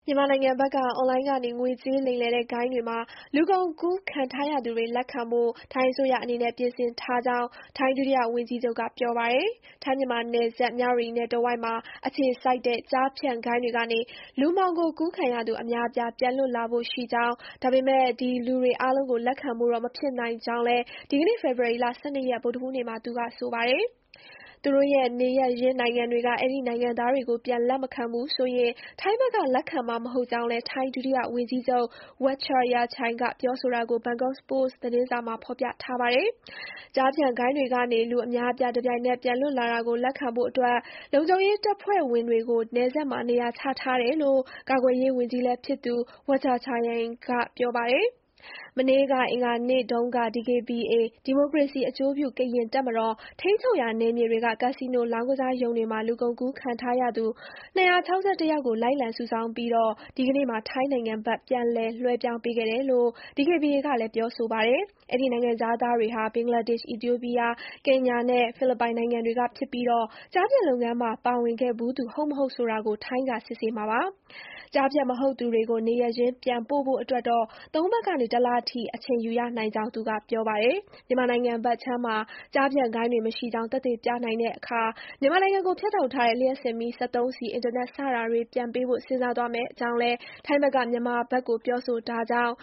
ြန်မာနိုင်ငံဘက်က အွန်လိုင်းကနေ ငွေကြေးလိမ်လည်တဲ့ဂိုဏ်းတွေမှာ လူကုန်ကူးခံထားရသူတွေ လက်ခံဖို့ ထိုင်းအစိုးရအနေနဲ့ ပြင်ဆင်ထားကြောင်း ထိုင်း ဒုတိယဝန်ကြီးချုပ် Phumtham Wechayachai က ပြောပါတယ်။ ထိုင်း-မြန်မာနယ်စပ် မြဝတီနယ်တဝိုက်မှာအခြေစိုက်တဲ့ ကျားဖြန့် ဂိုဏ်းတွေကနေ လူမှောင်ခိုကူးခံရသူ အများအပြား ပြန်လွတ်လာဖို့ရှိကြောင်း၊ ဒါပေမယ့် ဒီလူအားလုံးကို လက်ခံဖို့တော့မဖြစ်နိုင်ကြောင်း လည်း ဒီကနေ့ ဖေဖေါ်ဝါရီ ၁၂ ရက် ဗုဒ္ဓဟူးနေ့မှာ သူကပြောပါတယ်။ သူတို့ရဲ့ နေရပ်ရင်းနိုင်ငံတွေက အဲဒီနိုင်ငံသားတွေကို ပြန်လက်မခံဘူးဆိုရင် ထိုင်းဘက်က လက်ခံမှာမဟုတ်ကြောင်းလည်း Wechayachai က ပြောတာကို ဘန်ကောက်ပို့စ် သတင်းစာမှာ ဖေါ်ပြထားပါတယ်။ ကျားဖြန့်ဂိုဏ်း တွေကနေ လူအများအပြား တပြိုင်တည်းပြန်လွတ်လာတာကိုလက်ခံဖို့ လုံခြုံရေးတပ်ဖွဲ့ဝင်တွေကို နယ်စပ်မှာနေရာချထားတယ်လို့ ကာကွယ်ရေးဝန်ကြီးလည်းဖြစ်သူ Wechayachai က ပြောပါတယ်။ မနေ့က အင်္ဂါနေ့တုန်းက DKBA ဒီမိုကရေစီအကျိုးပြုကရင်တပ်မတော် ထိန်းချုပ်ရာနယ်မြေတွေက ကာစီနိုလောင်းကစားရုံတွေမှာ လူကုန်ကူးခံထားရသူ ၂၆၁ ယောက်ကို လိုက်လံစုဆောင်းပြီး ဒီကနေ့မှာ ထိုင်းနိုင်ငံဘက် ပြန်လည်လွှဲပြောင်းပေးခဲ့တယ်လို့ DKBA ကလည်း ပြောပါတယ်။ အဲဒီနိုင်ငံခြားသားတွေဟာ ဘင်္ဂလားဒေ့ရှ်၊ အီသီယိုးပီးယား၊ ကင်ညာနဲ့ ဖိလစ်ပိုင်နိုင်ငံတွေက ဖြစ်ပြီး ကျားဖြန့်လုပ်ငန်းမှာပါဝင်ခဲ့ဖူးသူ ဟုတ်မဟုတ်ဆိုတာ ထိုင်းကစစ်ဆေးမှာပါ။ ကျားဖြန့် မဟုတ်သူတွေ နေရပ်ရင်း ပြန်ပို့ဖို့အတွက်တော့ သုံးပတ်ကနေတလအထိ အချိန်ယူရနိုင်ကြောင်းသူက ပြောပါတယ်။ မြန်မာနိုင်ငံဘက်ခြမ်းမှာ ကျားဖြန့်ဂိုဏ်းတွေမရှိကြောင်း သက်သေပြနိုင်တဲ့အခါ မြန်မာနိုင်ငံကို ဖြတ် ထားတဲ့ လျှပ်စစ်မီး၊ စက်သုံးဆီ၊ အင်တာနက် စတာတွေပြန်ပေးဖို့ စဥ်းစားသွားမဲ့အကြောင်းလည်း ထိုင်းဘက်က မြန်မာဘက်ကို ပြောထားကြောင်း